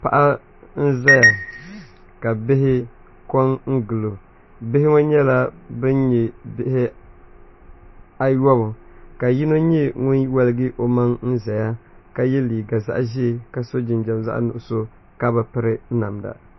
Paɣa n ʒɛya ka bihi ko n gilo bihi ŋɔ nyɛla bin nyɛ bihi ayobu ka yino nyɛ ŋun woligi o maŋ n ʒɛya ka yɛ liiga zaɣ ʒiɛ ka so jinjɛm zaɣ nuɣso ka bi piri namda